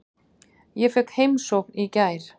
Ég fékk heimsókn í gær.